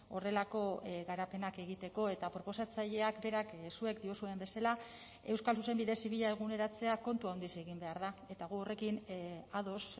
horrelako garapenak egiteko eta proposatzaileak berak zuek diozuen bezala euskal zuzenbide zibila eguneratzea kontu handiz egin behar da eta gu horrekin ados